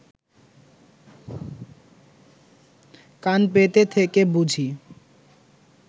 কান পেতে থেকে বুঝি